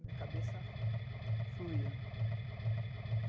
Minha cabeça fluía.